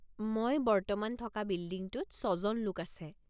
মই বর্তমান থকা বিল্ডিংটোত ৬জন লোক আছে।